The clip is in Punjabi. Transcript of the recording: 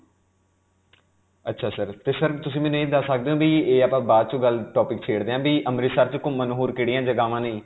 ਅਛਾ sir, ਤੇ sir ਤੁਸੀਂ ਮੈਨੂੰ ਇਹ ਦਸ ਸਕਦੇ ਹੋ ਕਿ ਇਹ ਆਪਾਂ ਬਾਅਦ 'ਚੋਂ ਗੱਲ topic ਛੇੜਦੇ ਹਾਂ ਕਿ ਅੰਮ੍ਰਿਤਸਰ 'ਚ ਘੁਮੰਣ ਨੂੰ ਹੋਰ ਕਿਹੜੀਆਂ ਜਗ੍ਹਾਵਾਂ ਨੇ?